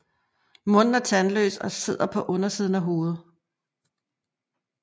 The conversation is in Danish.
Munden er tandløs og sidder på undersiden af hovedet